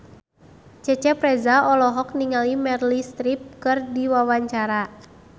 Cecep Reza olohok ningali Meryl Streep keur diwawancara